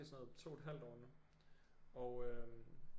I sådan noget 2 et halvt år nu og øh